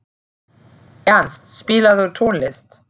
Ernst, spilaðu tónlist.